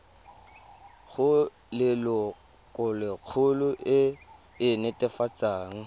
go lelokolegolo e e netefatsang